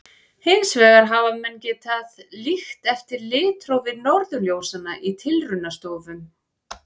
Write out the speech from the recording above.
Hins vegar hafa menn getað líkt eftir litrófi norðurljósanna í tilraunastofum.